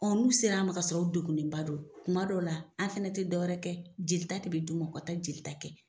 Ɔ n'u sera an ma k'a sɔrɔ u degunnenba don kuma dɔ la, an fana tɛ dɔwɛrɛ kɛ, jeli de bɛ di u ma ka taa jeli kɛ.